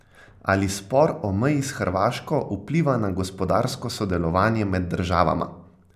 Ali spor o meji s Hrvaško vpliva na gospodarsko sodelovanje med državama?